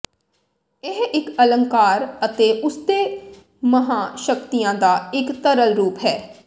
ਇਹ ਇੱਕ ਅਲੰਕਾਰ ਅਤੇ ਉਸਦੇ ਮਹਾਂ ਸ਼ਕਤੀਆਂ ਦਾ ਇੱਕ ਤਰਲ ਰੂਪ ਹੈ